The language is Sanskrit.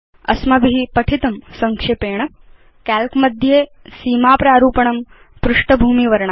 अस्माभि पठितं संक्षेपेण Calc मध्ये सीमा प्रारूपणं पृष्ठभूमिवर्णा